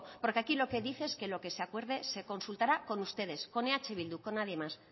porque aquí lo que dice es que lo que se acuerde se consultará con ustedes con eh bildu con nadie más